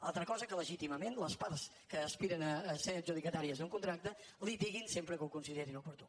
altra cosa és que legítimament les parts que aspiren a ser adjudicatàries d’un contracte litiguin sempre que ho considerin oportú